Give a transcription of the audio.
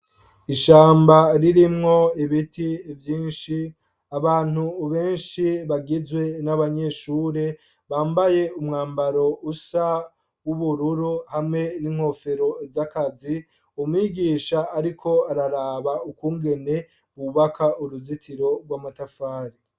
Ishamba ririmwo ibiti vyinshi, abantu benshi bagizwe n'abanyeshure, bambaye umwambaro usa n'ubururu hamwe n'inkofero z'akazi, umwigisha ariko araraba ukungene bubaka uruzitiro rw'amatafari.